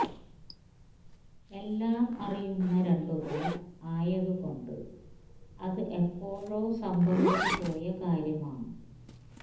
എല്ലാം അറിയുന്ന രണ്ടുപേർ ആയതുകൊണ്ട് അത് എപ്പോഴോ സംഭവിച്ചു പോയ കാര്യമാണ്